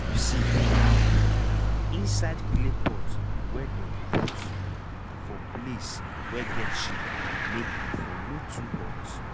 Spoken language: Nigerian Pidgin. keep seed for um inside clay pot wey dem put um for place wey get shade make e for no too hot